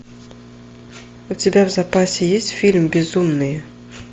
у тебя в запасе есть фильм безумные